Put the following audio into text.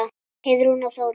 Heiðrún og Þórunn.